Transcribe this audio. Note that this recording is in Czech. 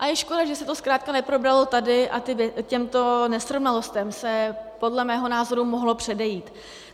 A je škoda, že se to zkrátka neprobralo tady, a těmto nesrovnalostem se podle mého názoru mohlo předejít.